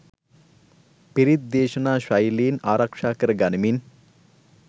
පිරිත් දේශනා ශෛලීන් ආරක්ෂා කර ගනිමින්